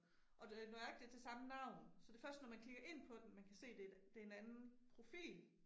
Og det nøjagtigt det samme navn, så det først når man klikker ind på den man kan se det et, det en anden profil